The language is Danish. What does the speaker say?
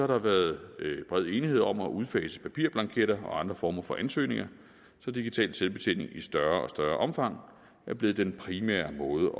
der været bred enighed om at udfase papirblanketter og andre former for ansøgninger så digital selvbetjening i større og større omfang er blevet den primære måde